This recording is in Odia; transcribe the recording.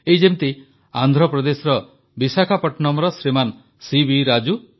ଏଇ ଯେମିତି ଆନ୍ଧ୍ରପ୍ରଦେଶର ବିଶାଖାପଟ୍ଟନମର ଶ୍ରୀମାନ ସିବି ରାଜୁ